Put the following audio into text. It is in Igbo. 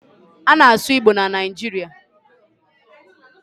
a na-asu Igbo na Naijiria